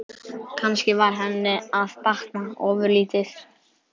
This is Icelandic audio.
Kannski var henni að batna ofurlítið.